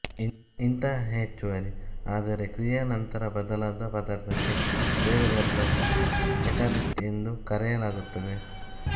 ಇಂತಹ ಹೆಚ್ಚುವರಿ ಆದರೆ ಕ್ರಿಯೆಯ ನಂತರ ಬದಲಾಗದ ಪದಾರ್ಥಕ್ಕೆ ವೇಗವರ್ಧಕ ಕೆಟಾಲಿಸ್ಟ್ ಎಂದು ಕರೆಯಲಾಗುತ್ತದೆ